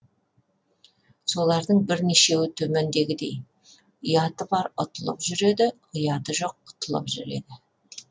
солардың бірнешеуі төмендегідей ұяты бар ұтылып жүреді ұяты жоқ құтылып жүреді